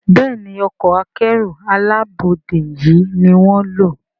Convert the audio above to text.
Béèni Ọkọ̀ akẹ́rù alábọ́dé yi ní wón ló.